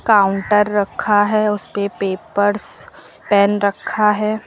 Counter रखा है उस पे पेपर्स पेन रखा है।